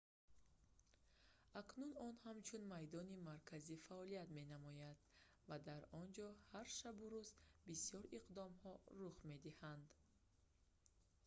акнун он ҳамчун майдони марказӣ фаъолият менамояд ва дар онҷо ҳар шабу рӯз бисёр иқдомҳо рух медиҳанд